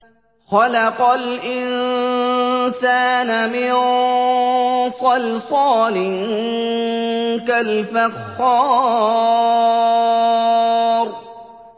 خَلَقَ الْإِنسَانَ مِن صَلْصَالٍ كَالْفَخَّارِ